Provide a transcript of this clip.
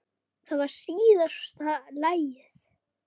Það var síðasta lagið.